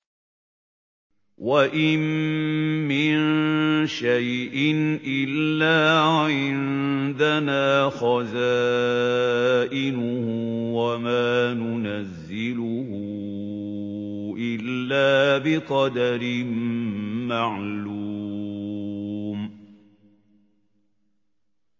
وَإِن مِّن شَيْءٍ إِلَّا عِندَنَا خَزَائِنُهُ وَمَا نُنَزِّلُهُ إِلَّا بِقَدَرٍ مَّعْلُومٍ